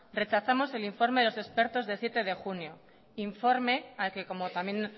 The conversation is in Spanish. rechazamos el informe de los expertos de siete de junio informe al que como también